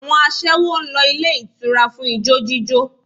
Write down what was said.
Àwọn aṣẹ́wó ń lọ ilé ìtura fún ijó jíjó